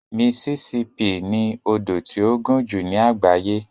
Mississippi ni odò tí ó gùn jù ní àgbáyé.